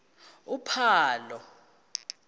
uphalo